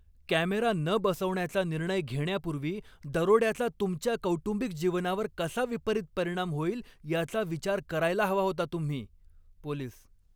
Camera न बसवण्याचा निर्णय घेण्यापूर्वी दरोड्याचा तुमच्या कौटुंबिक जीवनावर कसा विपरीत परिणाम होईल याचा विचार करायला हवा होता तुम्ही. पोलीस